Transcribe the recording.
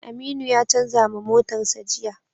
Aminu ya canza ma motarsa ​​jiya.